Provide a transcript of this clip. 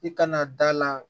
I kana da la